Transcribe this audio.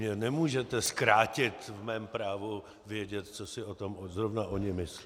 Mě nemůžete zkrátit v mém právu vědět, co si o tom zrovna oni myslí.